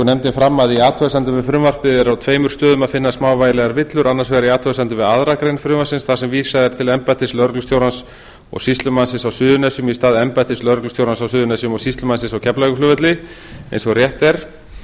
nefndin fram að í athugasemdum við frumvarpið er á tveimur stöðum að finna smávægilegar villur annars vegar í athugasemdum við aðra grein frumvarpsins þar sem vísað er til embættis lögreglustjórans og sýslumannsins á suðurnesjum í stað embættis lögreglustjórans á suðurnesjum og sýslumannsins á keflavíkurflugvelli eins og rétt er